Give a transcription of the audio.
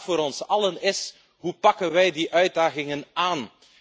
En de vraag voor ons allen is Hoe pakken wij die uitdagingen aan?.